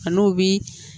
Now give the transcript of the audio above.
A n'o bi